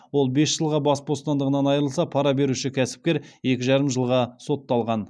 ол бес жылға бас бостандығынан айырылса пара беруші кәсіпкер екі жарым жылға сотталған